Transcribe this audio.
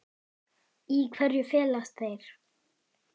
Í hverju felast þeir?